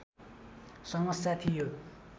समस्या थियो